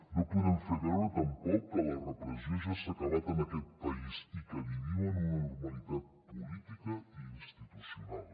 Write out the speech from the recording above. no podem fer veure tampoc que la repressió ja s’ha acabat en aquest país i que vivim en una normalitat política i institucional